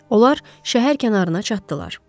Onlar şəhər kənarına çatdılar.